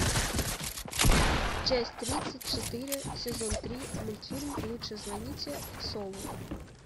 часть тридцать четыре сезон три мультфильм лучше звоните солу